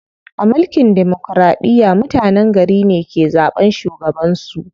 A mulkin demokiraɗiya, mutenen gari ne ke zaɓan shugaban su.